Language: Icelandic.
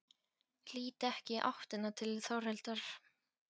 Lít ekki í áttina til Þórhildar.